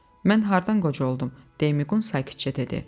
"Mən hardan qoca oldum?" deyə Miqqun sakitcə dedi.